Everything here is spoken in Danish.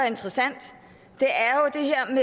interessant